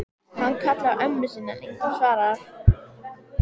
Má vera, en henni fannst hann allténd ágætur félagi.